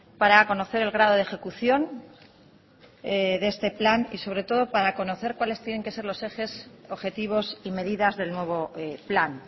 para conocer el grado de ejecución de este plan y sobre todo para conocer cuales tienen que ser los ejes objetivos y medidas del nuevo plan